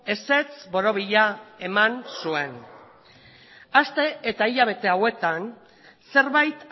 ezetz borobila eman zuen aste eta hilabete hauetan zerbait